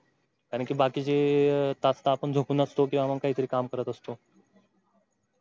कारण कि बाकीचे तास तर आपण झोपून असतो किंवा मग कहीतरी काम करत असतो.